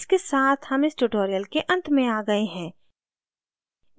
इसके साथ हम इस tutorial के अंत में आ गए हैं